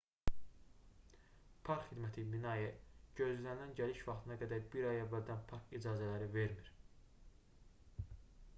park xidməti minae gözlənilən gəliş vaxtına qədər bir ay əvvəldən park icazələri vermir